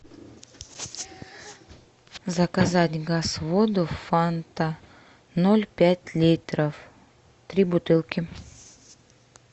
заказать газ воду фанта ноль пять литров три бутылки